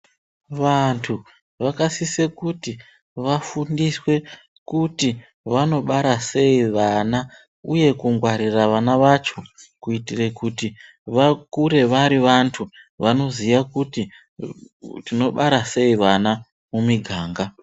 Vantu vakasise kuti vafundiswe kuti vanobara sei vana uye kungwarira vana vacho kuitire kuti vakure vari vantu vanoziya kuti tinobara sei vana mumiganga.